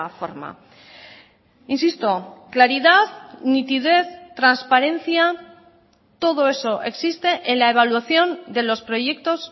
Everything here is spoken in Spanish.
forma insisto claridad nitidez transparencia todo eso existe en la evaluación de los proyectos